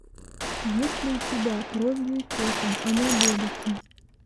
есть ли у тебя кровью и потом анаболики